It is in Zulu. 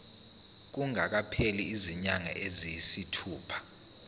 kungakapheli izinyanga eziyisithupha